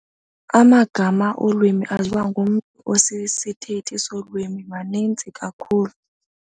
Amagama olwimi aziwa ngumntu osisithethi solwimi maninzi kakhulu.